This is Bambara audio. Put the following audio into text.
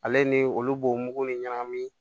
Ale ni olu bo mugu ni ɲagamin